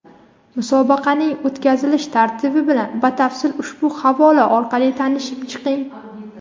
Musobaqaning o‘tkazilish tartibi bilan batafsil ushbu havola orqali tanishib chiqing!.